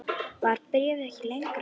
Var bréfið ekki lengra?